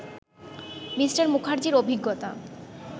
Me. মুখার্জির অভিজ্ঞতা